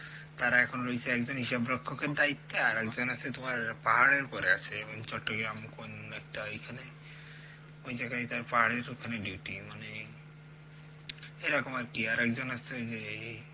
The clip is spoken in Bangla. তারা রয়েছে এখন হিসাব রক্ষিতের দায়িত্বে একজন আছে তোমার পাহাড়ের উপর আছে চট্টগ্রাম কোন একটা ঐখানে ওই জায়গায় তার পাহাড়ের ওখানে ডিউটি, মানে এরকম আর কি আরেকজন আছে ওই যে এ